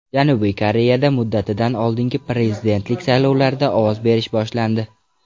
Janubiy Koreyada muddatidan oldingi prezidentlik saylovlarida ovoz berish boshlandi.